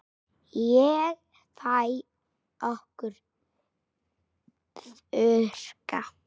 Ég fæ að þurrka.